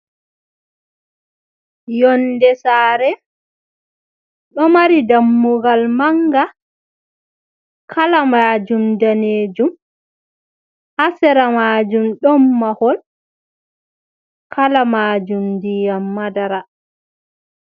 Yonde sare, do mari dammugal manga, kala majum danejum, hasera majum don mahol, kala majum ndiyam madara.